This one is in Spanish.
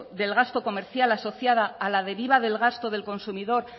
del gasto comercial asociada a la deriva del gasto del consumidor